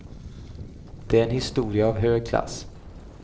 Det är en historia av hög klass.